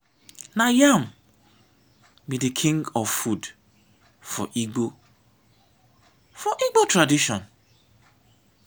na yam be de king of food for igbo for igbo tradition.